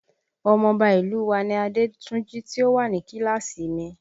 Ọmọ ọba ìlú u wa ni Adétúnjí tí ó wà ní kíláàsì mi